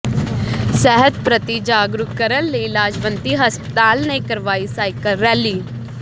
ਸਿਹਤ ਪ੍ਰਤੀ ਜਾਗਰੂਕ ਕਰਨ ਲਈ ਲਾਜਵੰਤੀ ਹਸਪਤਾਲ ਨੇ ਕਰਵਾਈ ਸਾਈਕਲ ਰੈਲੀ